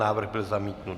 Návrh byl zamítnut.